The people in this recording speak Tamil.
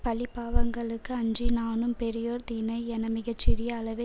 பழிபாவங்களுக்கு அஞ்சி நானும் பெரியோர் தினை என மிக சிறிய அளவே